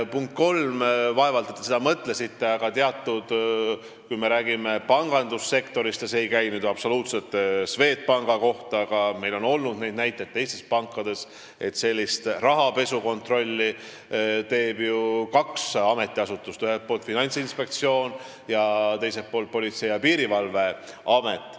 Punkt kolm, vaevalt, et te seda mõtlesite, aga kui me räägime pangandussektorist – see ei käi nüüd absoluutselt Swedbanki kohta, aga meil on olnud neid näiteid teistes pankades –, siis rahapesu kontrolli teevad ju kaks ametiasutust: Finantsinspektsioon ning Politsei- ja Piirivalveamet.